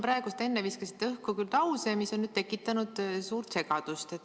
Te siin enne viskasite õhku lause, mis on tekitanud suurt segadust.